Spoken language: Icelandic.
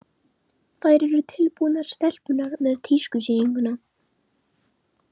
Þær eru tilbúnar, stelpurnar, með tískusýninguna.